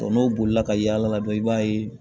n'o bolila ka yaala dɔrɔn i b'a ye